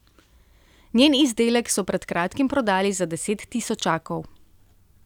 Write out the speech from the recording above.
Njen izdelek so pred kratkim prodali za deset tisočakov.